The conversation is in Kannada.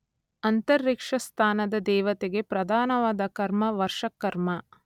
ಅಂತರಿಕ್ಷಸ್ಥಾನದ ದೇವತೆಗೆ ಪ್ರಧಾನವಾದ ಕರ್ಮ ವರ್ಷಕರ್ಮ.